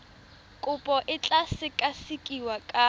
kopo e tla sekasekiwa ka